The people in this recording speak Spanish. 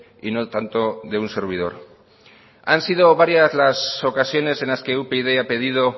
y no tanto de un servidor han sido varias las ocasiones en las que upyd ha pedido